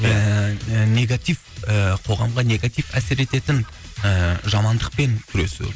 ііі негатив ііі қоғамға негатив әсер ететін ііі жамандықпен күресу